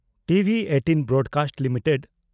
TV18 broadcast limited